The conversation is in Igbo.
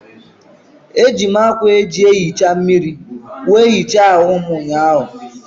Eji m ákwà eji ehicha mmiri wee hichaa ahụ m ụnyaahụ.